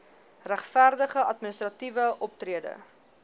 regverdige administratiewe optrede